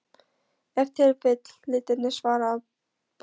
Ef til vill litirnir, svaraði baróninn.